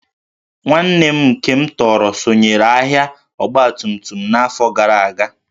Nwanne m nke m tọrọ sonyeere ahịa ọgbatumtum n'afọ gara aga